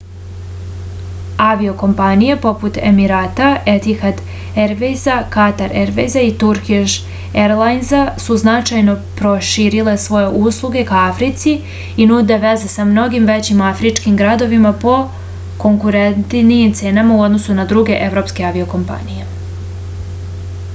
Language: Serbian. avio-kompanije poput emirata etihad ervejza katar ervejza i turkiš erlajnza su značajno proširile svoje usluge ka africi i nude veze sa mnogim većim afričkim gradovima po konkurentnijim cenama u odnosu na druge evropske avio-kompanije